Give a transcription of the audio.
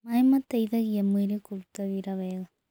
Mae mateĩthagĩa mwĩrĩ kũrũta wĩra wega